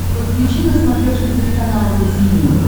подключи на смотрешке телеканал ру ти ви